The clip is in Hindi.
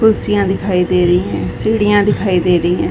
कुर्सियां दिखाई दे रही हैं। सीढ़िया दिखाई दे रही हैं।